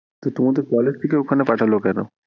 তো তোমাদের college থেকে ওখানে পাঠালো কেন?